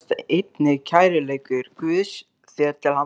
felst einnig kærleikur Guðs þér til handa.